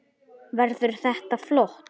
Hödd: Verður þetta flott?